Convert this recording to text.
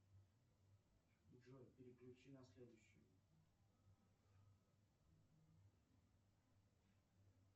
джой переключи на следующую